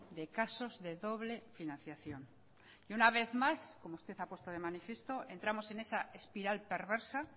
de casos de doble financiación y una vez más como usted ha puesto de manifiesto entramos en esa espiral perversa